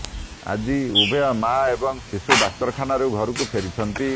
ଆଜି ଉଭୟ ମାଆ ଏବଂ ଶିଶୁ ଡାକ୍ତରଖାନାରୁ ଘରକୁ ଫେରିଛନ୍ତି